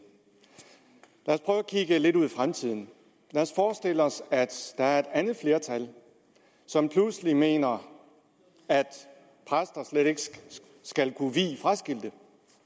kigge lidt ud i fremtiden lad os forestille os at der er et andet flertal som pludselig mener at præster slet ikke skal kunne vie fraskilte